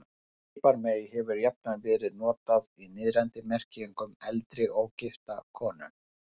Piparmey hefur jafnan verið notað í niðrandi merkingu um eldri, ógifta konu.